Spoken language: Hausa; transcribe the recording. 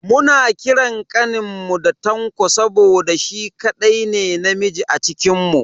Muna kiran kaninmu da Tanko saboda shi kadai ne namiji a cikinmu.